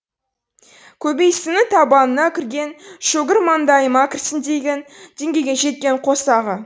көбейсіннің табанына кірген шөгір маңдайыма кірсін деген деңгейге жеткен қосағы